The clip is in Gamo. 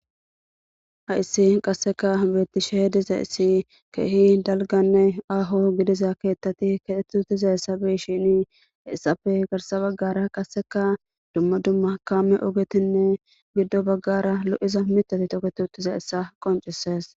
ha issi qasseka beettishe diza issi keehi dalganne aho gidiza keettati keetutiza essabeshini essafe garsa baggara qasseka dumma dumma kaame ogetinne giddo baggara lo7iza mitati toke tutiza essa qoncisees